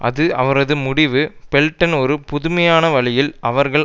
அது அவரது முடிவு பெல்டன் ஒரு புதுமையான வழியில் அவர்கள்